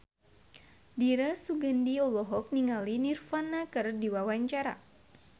Dira Sugandi olohok ningali Nirvana keur diwawancara